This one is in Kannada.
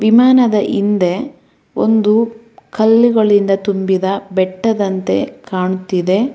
ವಿಮಾನದ ಇಂದೆ ಒಂದು ಕಲ್ಲುಗಳಿಂದ ತುಂಬಿದ ಬೆಟ್ಟದಂತೆ ಕಾಣುತ್ತಿದೆ.